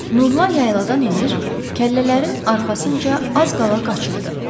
Nurla yayladan enir, kəllələrin arxasınca az qala qaçırdı.